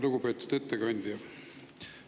Lugupeetud ettekandja!